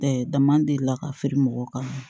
dama delila ka feere mɔgɔw kan